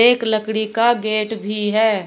एक लकड़ी का गेट भी है।